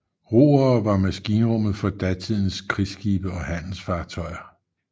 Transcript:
Roere var maskinrummet for datidens krigsskibe og handelsfartøjer